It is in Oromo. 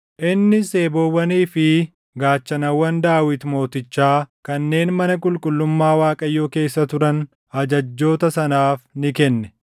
Innis eeboowwanii fi gaachanawwan Daawit Mootichaa kanneen mana qulqullummaa Waaqayyoo keessa turan ajajjoota sanaaf ni kenne.